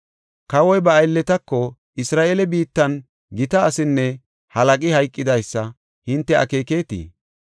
Kawoy ba aylletako, “Isra7eele biittan gita asinne halaqi hayqidaysa hinte akeekeketii?